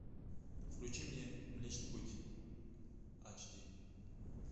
включи мне млечный путь ач ди